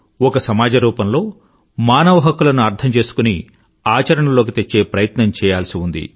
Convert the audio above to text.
ఒక సమాజ రూపంలో మానవ హక్కులను అర్థం చేసుకుని ఆచరణలోకి తెచ్చే ప్రయత్నం చెయ్యాల్సి ఉంది